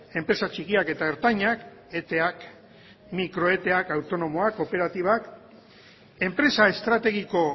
enpresa txikiak eta ertainak eteak mikro eteak autonomiak kooperatibak enpresa estrategiko